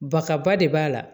Baka ba de b'a la